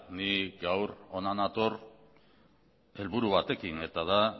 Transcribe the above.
ni gaur hona nator helburu batekin eta da